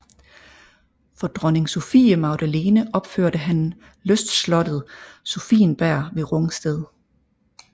For dronning Sophie Magdalene opførte han lystslottet Sophienberg ved Rungsted